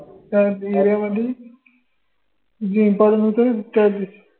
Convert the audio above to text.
त्या मधी जे important होत न